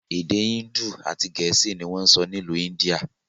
Èdè índù àti gẹ̀ẹ́sì ni wọn ń sọ n'ilu India.